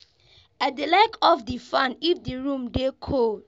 I dey like off di fan if di room dey cold.